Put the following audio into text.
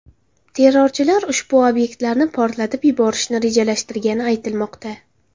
Terrorchilar ushbu obyektlarni portlatib yuborishni rejalashtirgani aytilmoqda.